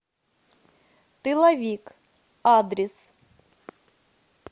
тыловик адрес